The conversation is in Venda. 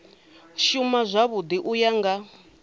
shuma zwavhui u ya nga